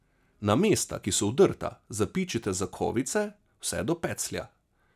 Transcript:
Na mesta, ki so vdrta, zapičite zakovice, vse do peclja.